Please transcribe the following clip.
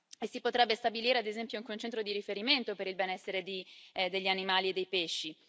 e si potrebbe stabilire, ad esempio, anche un centro di riferimento per il benessere degli animali e dei pesci.